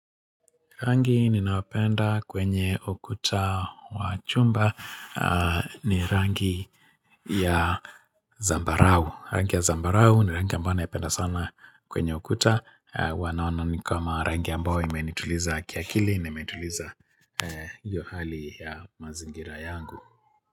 Rangi ninaopenda kwenye ukuta wa chumba ni rangi ya zambarau. Rangi ya zambarau ni rangi ambayo naipenda sana kwenye ukuta. Hua naona ni kama rangi ambao imenituliza kiakili na imetuliza hiyo hali ya mazingira yangu.